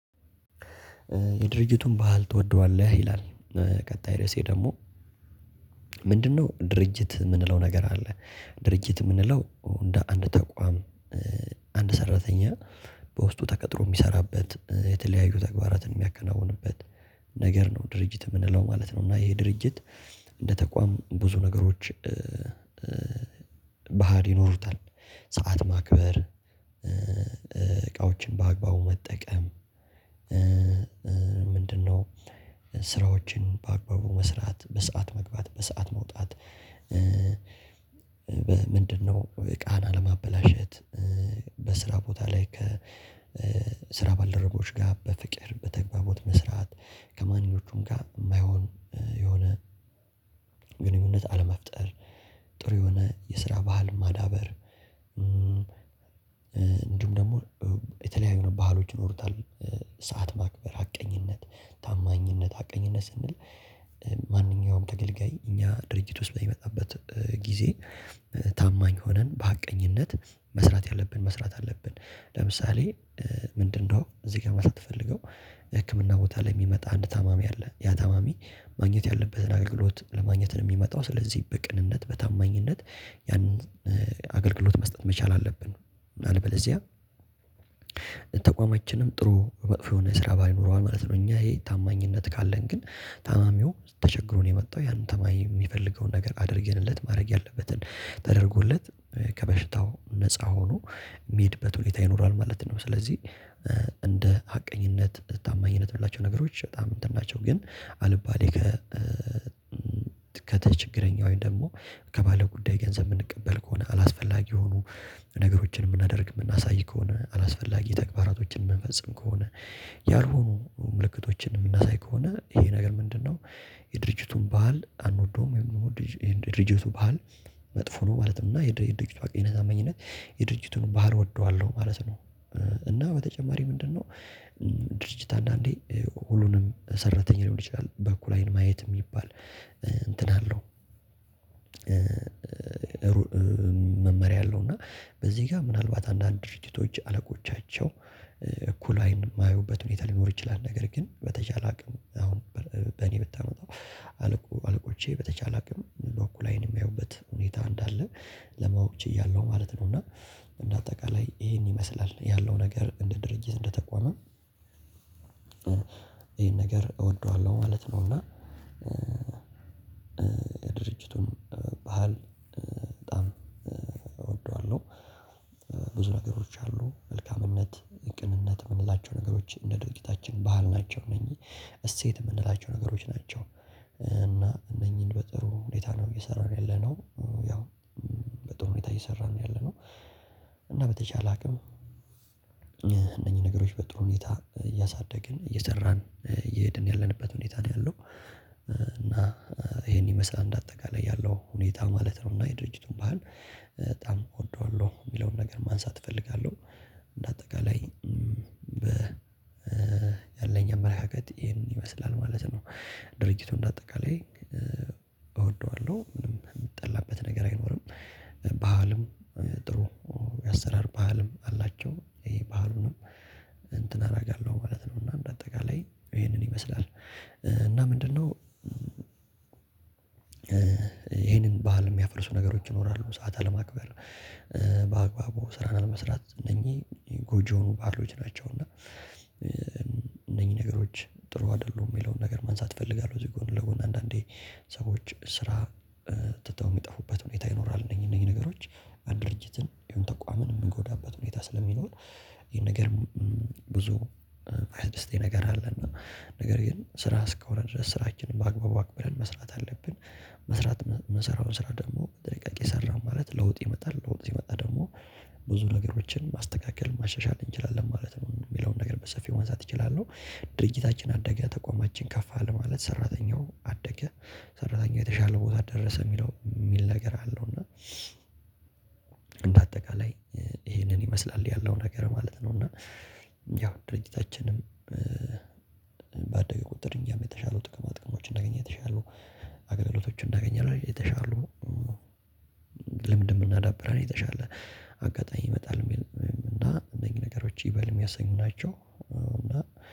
የድርጅቱን ባህል ትወደዋለህ ይላል? ቀጣይ ርዕሴ ደግሞ ምንድነው? ድርጅት የምንለው ነገር አለ ድርጅት የምንለው እንደ አንድ ተቋም አንድ ሰራተኛ በውስጡ ተቀጥሮ የሚሰራበት የተለያዩ ተግባራትን የሚያከናውንበት ነገር ነው ድርጅት የምንለው ማለት ነው። እና ይሄ ድርጅት እንደ ተቋም ብዙ ነገሮች ባህል ይኖሩታል ሰዓት ማክበር እቃዎችን በአግባቡ መጠቀም። ምንድነው? ስራዎችን በአግባቡ መስራት በሰአት መግባት በሰአት መውጣት። ምንድነው? ቃና ለማበላሸት በስራ ቦታ ላይ ከስራ ባልደረቦች ጋር በፍቅር በተግባቦት መስራት ከማንኞቹም ጋር የማይሆን የሆነ ግንኙነት አለመፍጠር ጥሩ የሆነ የስራ ባህል ማዳበር። እንዲሁም ደግሞ የተለያዩ ባህሎች ይኖሩታል ሰዓት ማክበር ሀቀኝነት ታማኝነት ሀቀኝነት ስንል ማንኛውም ተገልጋይ እኛ ድርጅት ውስጥ በሚመጣበት ጊዜ ታማኝ ሆነን በሀቀኝነት መስራት ያለብንን መስራት አለብን። ለምሳሌ ምንድነው እዚህ ጋር ለማለት የተፈለገው? ህክምና ቦታ ላይ የሚመጣ አንድ ታማሚ አለ ያ ታማሚ ማግኘት ያለበትን አገልግሎት ለማግኘት ነው የሚመጣው ስለዚህ በቅንነት በታማኝነት ያንን አገልግሎት መስጠት መቻል አለብን። አለበለዚያ ተቋማችንም ጥሩ መጥፎ የሆነ ስራ ባህል ይኖረዋል ማለት ነው። እኛ ይሄ ታማኝነት ካለን ግን ታማሚው ተቸግሮ ነው የመጣው ያን ታማሚ የሚፈልገውን ነገር አድርገንለት ማድረግ ያለበትን ተደርጎለት ከበሽታው ነፃ ሆኖ የሚሄድበት ሁኔታ ይኖራል ማለት ነው። ስለዚህ እንደ ሀቀኝነት ታማኝነት የምንላቸው ነገሮች በጣም እንትን ናቸው ግን አልባሌ ከችግረኛው ደግሞ ከባለጉዳይ ገንዘብ የምንቀበል ከሆነ አላስፈላጊ የሆኑ ነገሮችን የምናደርግ የምናሳይ ከሆነ አላስፈላጊ ተግባራቶችን የምንፈጽም ከሆነ ያልሆኑ ምልክቶችን የምናሳይ ከሆነ ይሄ ነገር ምንድነው? የድርጅቱን ባህል አንወደውም። የድርጅቱ ባህል መጥፎ ነው ማለት ነው። እና የድርጅቱ ሀቀኝነት ታማኝነት የድርጅቱን ባህል እወደዋለሁ ማለት ነው። እና በተጨማሪ ምንድነው? ድርጅት አንዳንዴ ሁሉንም ሰራተኛ ሊሆን ይችላል በእኩል አይን ማየት የሚባል እንትን አለው። መመሪያ አለው እና በዚህ ጋር ምናልባት አንዳንድ ድርጅቶች አለቆቻቸው እኩል አይን የማያዩበት ሁኔታ ሊኖር ይችላል ነገር ግን በተቻለ አቅም አሁን በእኔ ብታመጣው አለቆቼ በተቻለ አቅም በእኩል አይን የሚያዩበት ሁኔታ እንዳለ ለማወቅ ችያለሁ ማለት ነው። እና እንደ አጠቃላይ ይሄን ይመስላል ያለው ነገር እንደ ድርጅት እንደተቋምም ይሄን ነገር እወደዋለሁ ማለት ነውና። የድርጅቱን ባህል በጣም እወደዋለሁ። ብዙ ነገሮች አሉ መልካምነት ቅንነት የምንላቸው ነገሮች እንደ ድርጊታችን ባህል ናቸው እነኚህ እሴት የምንላቸው ነገሮች ናቸው። እና እነኚህን በጥሩ ሁኔታ ነው እየሰራን ያለነው ያው በጥሩ ሁኔታ እየሰራን ነው ያለነው። እና በተቻለ አቅም እነኚህ ነገሮች በጥሩ ሁኔታ እያሳደግን እየሰራን እየሄድን ያለንበት ሁኔታ ነው ያለው። እና ይሄን ይመስላል እንደ አጠቃላይ ያለው ሁኔታ ማለት ነው። እና የድርጅቱን ባህል በጣም እወደዋለሁ የሚለውን ነገር ማንሳት እፈልጋለሁ። በአጠቃላይ ያለኝ አመለካከት ይሄን ይመስላል ማለት ነው። ድርጅቱ እንደ አጠቃላይ እወደዋለሁ ምንም የሚጠላበት ነገር አይኖርም። ባህልም ጥሩ የአሰራር ባህልም አላቸው ይሄ ባህሉንም እንትን አደርጋለሁ ማለት ነው። እና በአጠቃላይ ይሄንን ይመስላል እና ምንድነው? ይሄንን ባህል የሚያፈርሱ ነገሮች ይኖራሉ ሰዓት አለማክበር በአግባቡ ስራን አለመስራት እነኚህ ጎጂ የሆኑ ባህሎች ናቸው። እና እነኚህ ነገሮች ጥሩ አይደሉም የሚለውን ነገር ማንሳት እፈልጋለሁ። እዚህ ጎን ለጎን አንዳንዴ ሰዎች ስራ ትተው የሚጠፉበት ሁኔታ ይኖራል። እነዚህ እነዚህ ነገሮች አንድ ድርጅትን ወይም ተቋምን የሚጎዳበት ሁኔታ ስለሚኖር። ይሄን ነገር ብዙ የማያስደስተኝ ነገር አለ። እና ነገር ግን ስራ እስከሆነ ድረስ ስራችንን በአግባቡ አክብረን መስራት አለብን። መስራት የምንሰራውን ስራ ደግሞ በጥንቃቄ ሰራን ማለት ለውጥ ይመጣል ለውጥ ሲመጣ ደግሞ ብዙ ነገሮችን ማስተካከል ማሻሻል እንችላለን ማለት ነው። የሚለውን ነገር በሰፊው ማንሳት እችላለሁ። ድርጅታችን አደገ ተቋማችን ከፍ አለ ማለት ሰራተኛውም አደገ ሰራተኛው የተሻለ ቦታ ደረሰ የሚለው የሚል ነገር አለው። እና እንደ አጠቃላይ ይሄንን ይመስላል ያለው ነገር ማለት ነው። እና ያው ድርጅታችንም ባደገ ቁጥር እኛም የተሻሉ ጥቅማ ጥቅሞችን እናገኛለን። የተሻላል አገልግሎቶችን እናገኛለን። የተሻሉ ልምድም እናዳብራለን። የተሻለ አጋጣሚ ይመጣል። እና እነዚህ ነገሮች ይበል የሚያሰኙ ናቸው። እና